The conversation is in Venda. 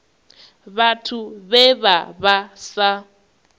vhathu vhe vha vha sa